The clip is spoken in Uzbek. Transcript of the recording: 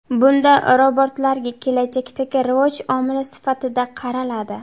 Bunda robotlarga kelajakdagi rivoj omili sifatida qaraladi.